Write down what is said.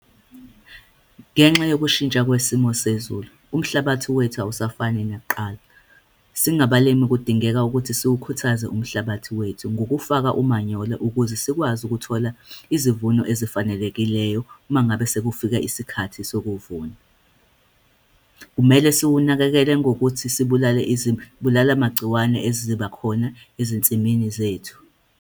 Ngenxa yokushintsha kwesimo sezulu, umhlabathi wethu awusafani nakuqala. Singabalimi kudingeka ukuthi siwukhuthaze umhlabathi wethu, ngokufaka umanyolo ukuze sikwazi ukuthola izivuno ezifanelekileyo mangabe sekufika isikhathi sokuvuma. Kumele siwunakekele ngokuthi sibulale izibulala magciwane eziba khona ezinsimini zethu.